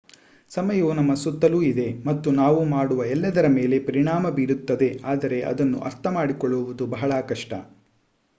ಸಮಯವು ನಮ್ಮ ಸುತ್ತಲೂ ಇದೆ ಮತ್ತು ನಾವು ಮಾಡುವ ಎಲ್ಲದರ ಮೇಲೆ ಪರಿಣಾಮ ಬೀರುತ್ತದೆ ಆದರೆ ಅದನ್ನು ಅರ್ಥಮಾಡಿಕೊಳ್ಳುವುದು ಬಹಳ ಕಷ್ಟ